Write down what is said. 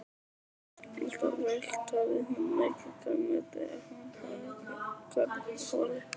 Alltaf ræktaði hún mikið grænmeti ef hún hafði garðholu.